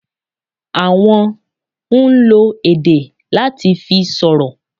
Àwon n lo èdè láa ti fi sọ̀rọ̀